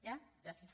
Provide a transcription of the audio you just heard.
ja gràcies